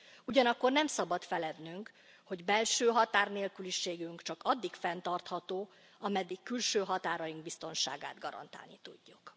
Ugyanakkor nem szabad felednünk, hogy belső határnélküliségünk csak addig fenntartható, ameddig külső határaink biztonságát garantálni tudjuk.